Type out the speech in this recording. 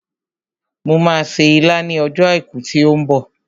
Mo máa se ilá ní ọjọ́ àìkú tí ó ń bọ̀